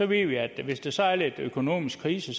ved vi at hvis der så er lidt økonomisk krise